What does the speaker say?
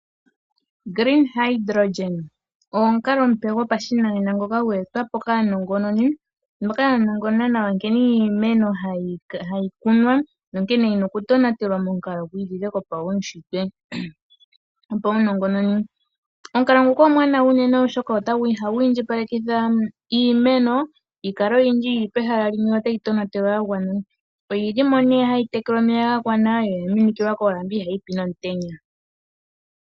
Green Hydrogen ogo omukalo omupe gopashinanena ngoka gwe etwapo kaanongononi moka ya nongonona nawa nkene iimeno hayi kunwa nonkene yina oku tonatelwa mokalo gwi ilile gopaushitwe gwopaunongononi. Omukalo nguka omwaanawa uunene oshoka otagu iindjipalekitha iimeno yikale oyindji yili pehala limwe yo tayi tonatelwa ya gwana. Oyili mo nee hayi pewa omeya gagwana yo oya minikilwa koolamba ihayi pi nomutenya.